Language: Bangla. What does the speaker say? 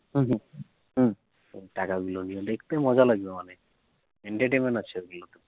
দেখতে মজা লাগবে অনেক entertainment